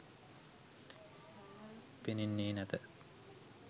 පෙනෙන්නේ නැත.